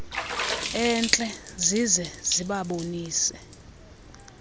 entle zize zibabonise